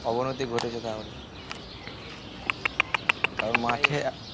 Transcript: অবনতি ঘটেছে তা হলে কার মাঠে